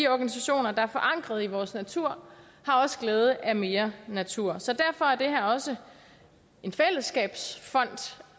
organisationer der er forankret i vores natur har også glæde af mere natur så derfor er det her også en fællesskabsfond